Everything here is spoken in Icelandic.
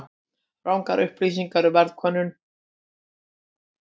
Rangar upplýsingar í verðkönnun